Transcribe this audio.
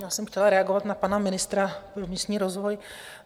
Já jsem chtěla reagovat na pana ministra pro místní rozvoj.